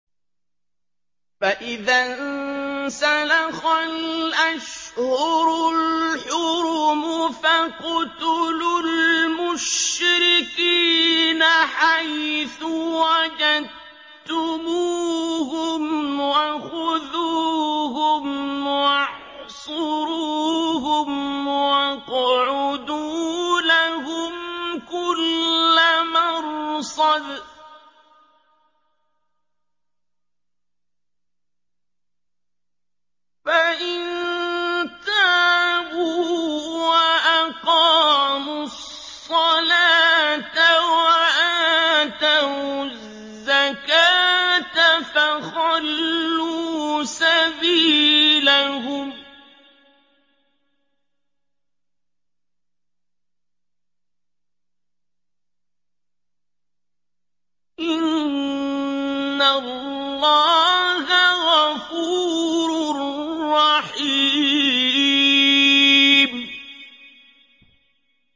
فَإِذَا انسَلَخَ الْأَشْهُرُ الْحُرُمُ فَاقْتُلُوا الْمُشْرِكِينَ حَيْثُ وَجَدتُّمُوهُمْ وَخُذُوهُمْ وَاحْصُرُوهُمْ وَاقْعُدُوا لَهُمْ كُلَّ مَرْصَدٍ ۚ فَإِن تَابُوا وَأَقَامُوا الصَّلَاةَ وَآتَوُا الزَّكَاةَ فَخَلُّوا سَبِيلَهُمْ ۚ إِنَّ اللَّهَ غَفُورٌ رَّحِيمٌ